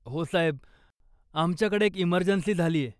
हो साहेब, आमच्याकडे एक इमर्जन्सी झालीय.